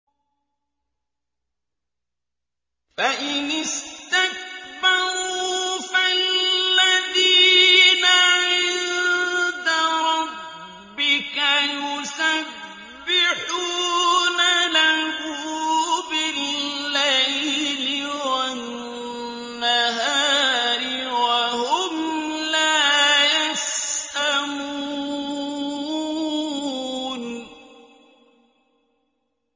فَإِنِ اسْتَكْبَرُوا فَالَّذِينَ عِندَ رَبِّكَ يُسَبِّحُونَ لَهُ بِاللَّيْلِ وَالنَّهَارِ وَهُمْ لَا يَسْأَمُونَ ۩